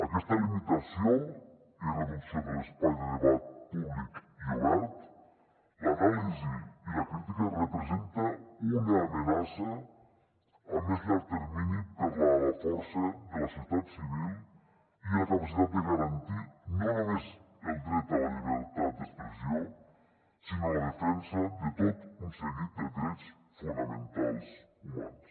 aquesta limitació i reducció de l’espai de debat públic i obert l’anàlisi i la crítica representen una amenaça a més llarg termini per a la força de la societat civil i la capacitat de garantir no només el dret a la llibertat d’expressió sinó la defensa de tot un seguit de drets fonamentals humans